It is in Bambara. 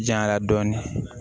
Janya dɔɔnin